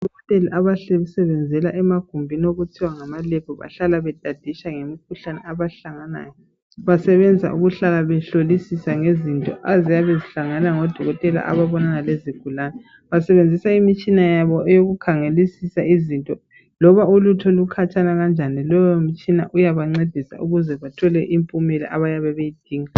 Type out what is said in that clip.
Odokotela abasebenzela emagumbini okuthiwa ngamaLab, Bahlala betaditsha ngemikhuhlane abahlangana layo. Basebenza ukuhlala behlolisisa ngezinto eziyabe zihlangene lamadokotela ababonana lezigulane. Basebenzisa imutshina yabo yokukhangelisisa ngezinto. Loba into ikhatshana kangakanani, leyomitshina iyabancedisa ukuze bathole impumela. Abayabe beyidinga.